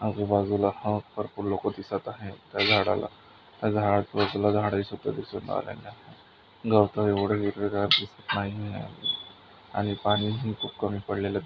आजूबाजूला हा भरपूर लोकं दिसत आहेत त्या झाडाला गवत एवढे हिरवेगार दिसत नाहीये आणि पानी ही खूप कमी --